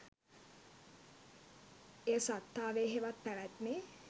එය සත්තාවේ හෙවත් පැවැත්මේ